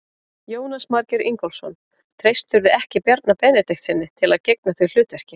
Jónas Margeir Ingólfsson: Treystirðu ekki Bjarna Benediktssyni til að gegna því hlutverki?